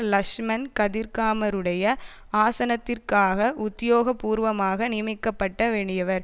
லக்ஷ்மன் கதிர்காமருடைய ஆசனத்திற்காக உத்தியோக பூர்வமாக நியமிக்கப்பட வேண்டியவர்